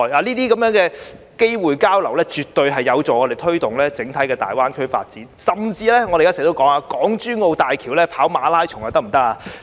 這些交流機會絕對有助我們推動大灣區的整體發展，甚至我們經常提到，可否在港珠澳大橋上進行馬拉松呢？